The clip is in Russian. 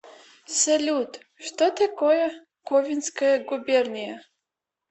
салют что такое ковенская губерния